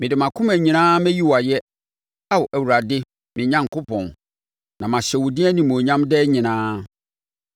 Mede mʼakoma nyinaa mɛyi wo ayɛ, Ao Awurade me Onyankopɔn na mahyɛ wo din animuonyam daa nyinaa.